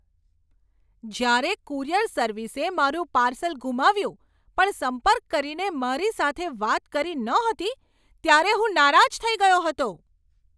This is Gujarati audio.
જ્યારે કુરિયર સર્વિસે મારું પાર્સલ ગુમાવ્યું પણ સંપર્ક કરીને મારી સાથે વાત કરી નહોતી, ત્યારે હું નારાજ થઈ ગયો હતો.